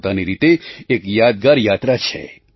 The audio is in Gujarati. તે પોતાની રીતે એક યાદગાર યાત્રા છે